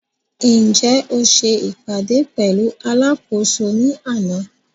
Ǹjẹ́ o se ìpàdé pẹ̀lú alákòóso ní àná?